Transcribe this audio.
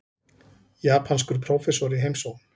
Japanskur prófessor í heimsókn.